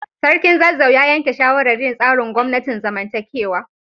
Sarkin Zazzau ya yanke shawarar yin tsarin gwamnatin zamantakewa.